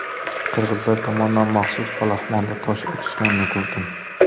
Qirg‘izlar tomondan maxsus palaxmonda tosh otishganini ko‘rdim.